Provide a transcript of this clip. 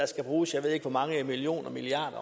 skal bruges jeg ved ikke hvor mange millioner og milliarder